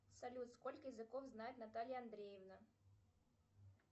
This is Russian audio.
салют сколько языков знает наталья андреевна